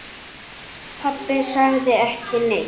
Pabbi sagði ekki neitt.